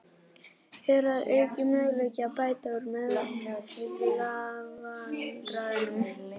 Er að auki möguleiki á að bæta úr meiðslavandræðunum?